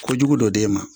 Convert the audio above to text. Kojugu dɔ d'e ma